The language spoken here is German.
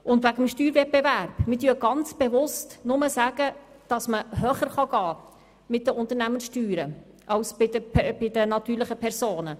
Und noch etwas zum Steuerwettbewerb: Wir sagen ganz bewusst, dass man nur bei den Unternehmenssteuern höher gehen kann als bei den natürlichen Personen.